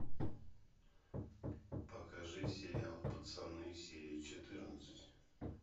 покажи сериал пацаны серия четырнадцать